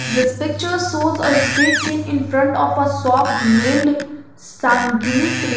this pictures shows a straight seen in front of a shop named sangini creation.